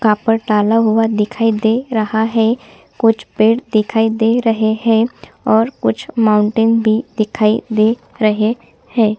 ऊपर डाला हुआ दिखाई दे रहा है कुछ पेड़ दिखाई दे रहे है और कुछ माउंटेन भी दिखाई दे रहे है।